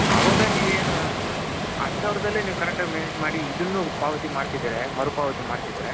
ಅವಾಗ ನೀವ್ ಏನು ಹತ್ತು ಸಾವಿರದಲ್ಲಿ ನೀವು correct ಆಗಿ manage ಮಾಡದ್ರೆ ಇದುನ್ನು ಪಾವತಿ ಮಾಡ್ತಿದ್ರೆ ಮರು ಪಾವತಿ ಮಾಡ್ತಿದ್ರೆ.